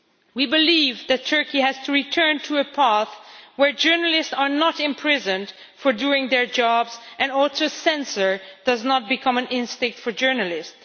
We believe that Turkey has to return to a path where journalists are not imprisoned for doing their jobs and censorship does not become an instinct for journalists.